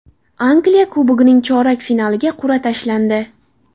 Angliya Kubogining chorak finaliga qur’a tashlandi.